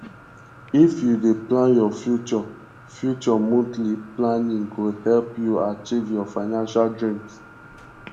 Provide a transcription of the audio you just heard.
if you dey plan your future future monthly planning go help you achieve your financial dreams